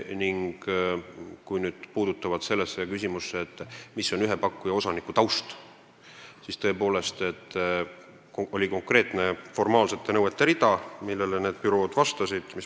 Kui küsimus puudutab seda, mis on ühe pakkuja osaniku taust, siis olid tõepoolest konkreetsed formaalsed nõuded, millele konkursi võitja bürood vastasid.